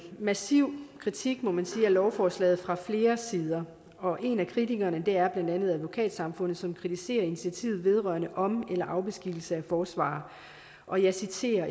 massiv kritik må man sige af lovforslaget fra flere sider og en af kritikerne er blandt andet advokatsamfundet som kritiserer initiativet vedrørende om eller afbeskikkelse af forsvarer og jeg citerer